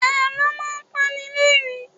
Àlọ́ máa ń panilerin